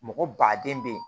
Mɔgɔ baden be yen